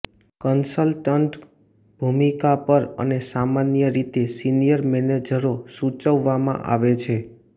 consultant ભૂમિકા પર અને સામાન્ય રીતે સિનિયર મેનેજરો સૂચવવામાં આવે છે